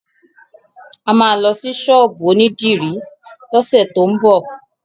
A máa lọ sí ṣọ́ọ̀bù onídìrí lọ́sẹ̀ tó ń bọ̀.